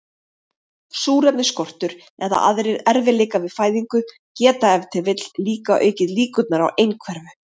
Súrefnisskortur eða aðrir erfiðleikar við fæðingu geta ef til vill líka aukið líkurnar á einhverfu.